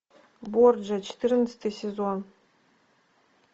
борджиа четырнадцатый сезон